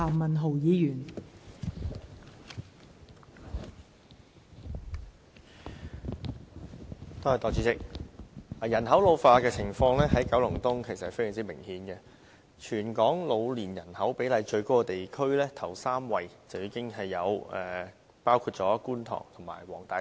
代理主席，人口老化的情況在九龍東非常明顯，全港老年人口比例最高的地區，首3位已包括觀塘和黃大仙。